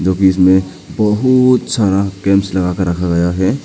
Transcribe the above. जो की इसमें बहुत सारा कैम्प्स लगा के रखा गया है।